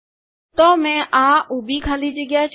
તો મેં આ ઊભી ખાલી જગ્યા છોડી